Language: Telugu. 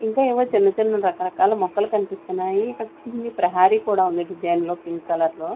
ఇంకా ఏవో చిన్న-చిన్న రకరకాల మొక్కలు కనిపిస్తూన్నాయి ఇక్కడ చిన్ని ప్రహారీ కూడా ఉంది డిజైన్ లో పింక్ కలర్ లో --